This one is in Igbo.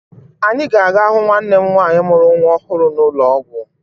Anyị ga-aga hụ nwanne m nwaanyị mụrụ nwa ọhụrụ n'ụlọ ọgwụ